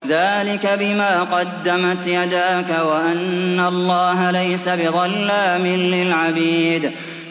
ذَٰلِكَ بِمَا قَدَّمَتْ يَدَاكَ وَأَنَّ اللَّهَ لَيْسَ بِظَلَّامٍ لِّلْعَبِيدِ